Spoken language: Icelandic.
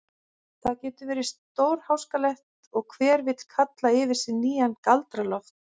Það getur verið stórháskalegt og hver vill kalla yfir sig nýjan Galdra-Loft.